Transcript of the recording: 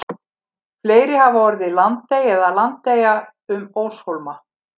fleiri hafa orðið landey eða landeyja um óshólma